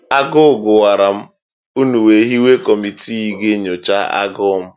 Agụụ gụwara m, ụnụ wee hiwe kọmitii ga-enyocha agụụ m.